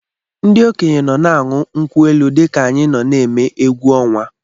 Ndị okenye nọ na-aṅụ nkwụ elu dị ka anyị nọ na-eme egwu ọnwa.